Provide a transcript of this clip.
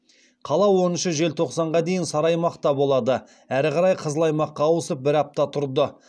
қала оныншы желтоқсанға дейін сары аймақта болды әрі қарай қызыл аймаққа ауысып бір апта тұрды